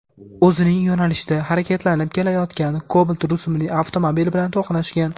o‘zining yo‘nalishida harakatlanib kelayotgan Cobalt rusumli avtomobil bilan to‘qnashgan.